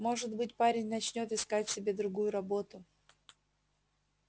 может быть парень начнёт искать себе другую работу